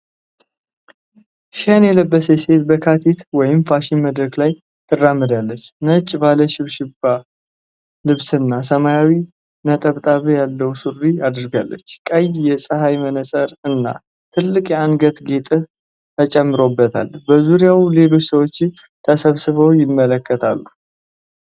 ሽን የለበሰች ሴት በካቲት (ፋሽን) መድረክ ላይ ትራመዳለች። ነጭ ባለ ሽብሸባ (ራፍል) ልብስና ሰማያዊ ነጠብጣብ ያለው ሱሪ አድርጋለች። ቀይ የፀሐይ መነፅርና ትልቅ የአንገት ጌጥ ተጨምሮባታል። በዙሪያው ሌሎች ሰዎች ተሰብስበው ይመለከታሉ።